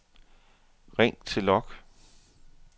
ring til log